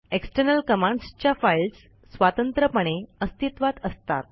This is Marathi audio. एक्स्टर्नल कमांड्स च्या फाईल्स स्वतंत्रपणे अस्तित्वात असतात